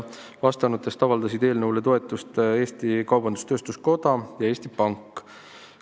Vastanutest avaldasid eelnõule toetust Eesti Kaubandus-Tööstuskoda ja Eesti Pank.